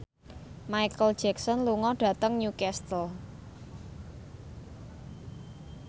Micheal Jackson lunga dhateng Newcastle